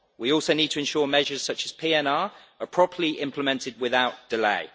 We also need to ensure measures such as PNR are properly implemented without delay.